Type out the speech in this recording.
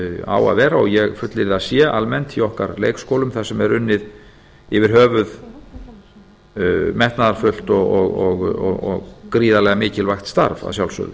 á að vera og ég fullyrði að sé almennt í okkar leikskólum þar sem er unnið yfir höfuð metnaðarfullt og gríðarlega mikilvægt starf að sjálfsögðu